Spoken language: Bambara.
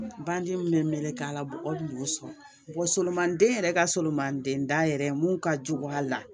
Bandi min bɛ meleke a la mɔgɔ tun b'o sɔrɔ solomani den yɛrɛ ka solomanden da yɛrɛ ye mun ka jugu a la